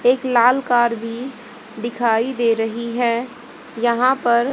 एक लाल कार भी दिखाई दे रही है यहां पर--